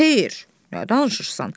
Xeyr, nə danışırsan?